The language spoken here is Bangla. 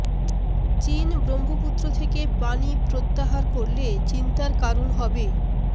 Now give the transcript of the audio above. চীন ব্রহ্মপুত্র থেকে পানি প্রত্যাহার করলে চিন্তার কারণ হবে